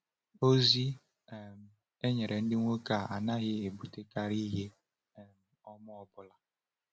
.Ozi um e nyere ndị nwoke a anaghị ebutekarị ihe um ọma ọ bụla.